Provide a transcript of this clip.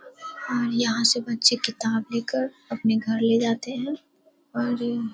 और यहाँ से बच्चे किताब लेकर अपने घर ले जाते हैं और --